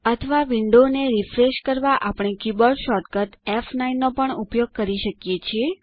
અથવા વિન્ડો ને રીફ્રેશ કરવા આપણે કીબોર્ડ શૉર્ટકટ ફ9 નો પણ ઉપયોગ કરી શકીએ છીએ